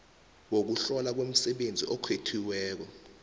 wokuhlolwa kwemisebenzi okhethiweko